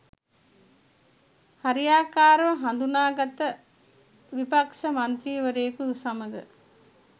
හරියාකාරව නාඳුනන විපක්‌ෂ මන්ත්‍රීවරයකු සමග